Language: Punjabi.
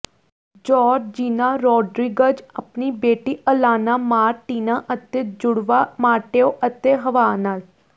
ਜੋਰਜੀਨਾ ਰੋਡਰੀਗਜ਼ ਆਪਣੀ ਬੇਟੀ ਅਲਾਨਾ ਮਾਰਟੀਨਾ ਅਤੇ ਜੁੜਵਾਂ ਮਾਟੇਓ ਅਤੇ ਹੱਵਾਹ ਨਾਲ